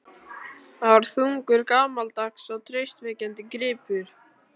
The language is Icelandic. Það var þungur, gamaldags og traustvekjandi gripur.